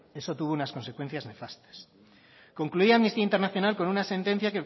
eso tuvo unas consecuencias nefastas concluía amnistía internacional con una sentencia